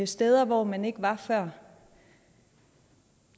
steder hvor man ikke var før